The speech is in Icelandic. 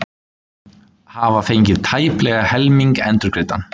Hafa fengið tæplega helming endurgreiddan